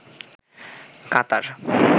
কাতার